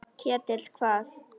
Ketill hvað?